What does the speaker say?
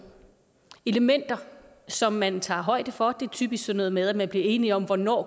elementer som man tager højde for det er typisk sådan noget med at man bliver enig om hvornår